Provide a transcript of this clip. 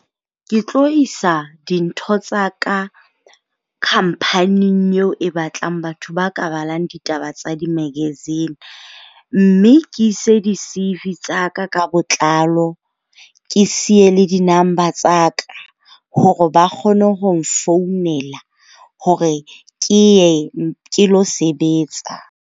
Ke tlo isa dintho tsa ka company-ing eo e batlang batho ba ka balang ditaba tsa di-magazine. Mme ke ise di-CV tsa ka ka botlalo. Ke siye le di-number tsa ka hore ba kgone ho nfounela hore ke ye ke lo sebetsa.